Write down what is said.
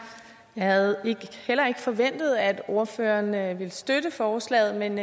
jeg havde heller ikke forventet at ordføreren ville støtte forslaget men